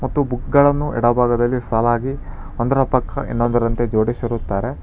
ಮತ್ತು ಬುಕ್ ಗಳನ್ನು ಎಡಭಾಗದಲ್ಲಿ ಸಾಲಾಗಿ ಅದರ ಪಕ್ಕ ಎಲ್ಲದರಂತೆ ಜೊಡಿಸಿರುತ್ತಾರೆ.